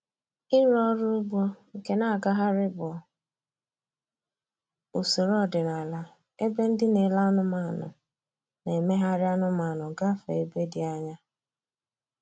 Ịrụ ọrụ ugbo nke na-agagharị bụ usoro ọdịnala ebe ndị na-ele anụmanụ na-emegharị anụmanụ gafee ebe dị anya.